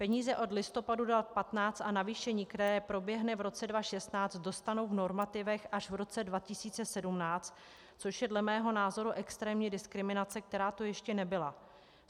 Peníze od listopadu 2015 a navýšení, které proběhne v roce 2016, dostanou v normativech až v roce 2017, což je dle mého názoru extrémní diskriminace, která tu ještě nebyla.